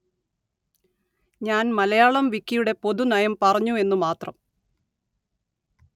ഞാന്‍ മലയാളം വിക്കിയുടെ പൊതു നയം പറഞ്ഞു എന്ന് മാത്രം